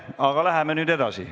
Aga läheme nüüd edasi.